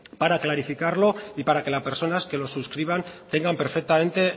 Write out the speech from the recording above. para clarificarlo y para que las personas que los suscriban tengan perfectamente